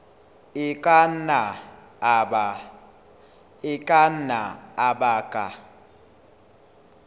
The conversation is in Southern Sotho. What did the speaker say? a ka nna a baka